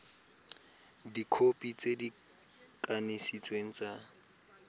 dikhopi tse di kanisitsweng tsa